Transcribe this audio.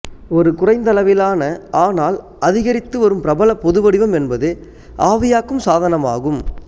ஒரு குறைந்தளவிலான ஆனால் அதிகரித்துவரும் பிரபல பொதுவடிவம் என்பது ஆவியாக்கும் சாதனமாகும்